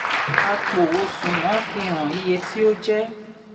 àpò osùwọ̀n fi hàn iye tí ó jẹ́.